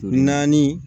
Naani